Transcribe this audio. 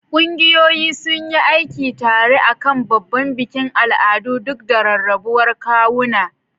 Ƙungiyoyi sun yi aiki tare a kan babban bikin al'adu duk da rarrabuwar kawuna.